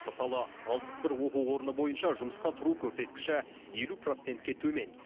мысалы алпыс бір оқу орны бойынша жұмысқа тұру көрсеткіші елу процентке төмен